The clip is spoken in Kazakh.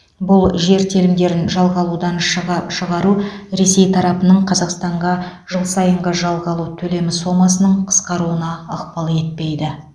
бұл жер телімдерін жалға алудан шыға шығару ресей тарапының қазақстанға жыл сайынғы жалға алу төлемі сомасының қысқаруына ықпал етпейді